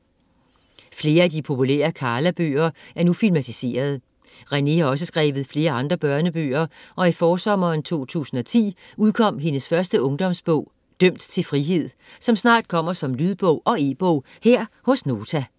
Flere af de populærere Karla-bøger er nu filmatiserede. Renée har også skrevet flere andre børnebøger og i forsommeren 2010 udkom hendes første ungdomsbog Dømt til frihed, som snart kommer som lydbog og e-bog her hos Nota.